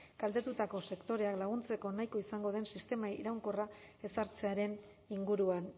kaltetutako sektoreak laguntzeko nahikoa izango den sistema iraunkorra ezartzearen inguruan